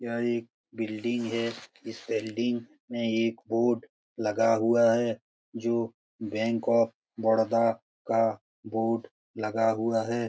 यह एक बिल्डिंग है। इस बिल्डिंग में एक बोर्ड लगा हुआ है जो बैंक ऑफ बड़ोदा का बोर्ड लगा हुआ है।